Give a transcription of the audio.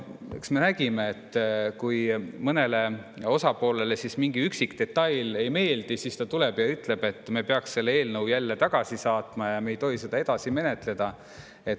Eks me nägime ette, et kui mõnele osapoolele mingi üksik detail ei meeldi, siis ta tuleb ja ütleb, et me peaks selle eelnõu jälle tagasi saatma, me ei tohi seda edasi menetleda.